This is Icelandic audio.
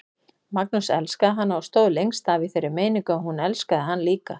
Magnús elskaði hana og stóð lengst af í þeirri meiningu að hún elskaði hann líka.